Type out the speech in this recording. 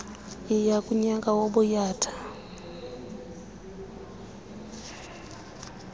yayi ngunyaka wobuyatha